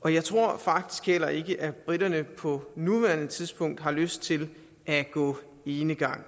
og jeg tror faktisk heller ikke at briterne på nuværende tidspunkt har lyst til at gå enegang